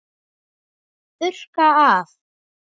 Þurrka af.